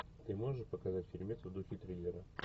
ты можешь показать фильмец в духе триллера